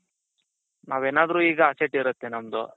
ನಾವೇನಾದ್ರೂ ಈಗ asset ಇರುತ್ತೆ ನಮ್ದು,